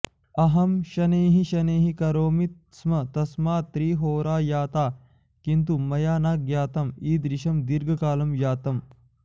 अहं शनैः शनैः करोमि स्म तस्मात् त्रिहोरा जाता किन्तु मया न ज्ञातम् ईदृशं दीर्घकालं जातम्